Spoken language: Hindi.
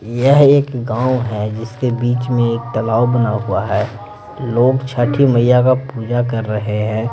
यह एक गांव है जिसके बीच में एक तालाव बना हुआ है लोग छठी मैया का पूजा कर रहे हैं।